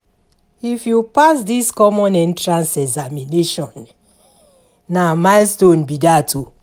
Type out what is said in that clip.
If you pass this Common Entrance Examination, na milestone be dat o.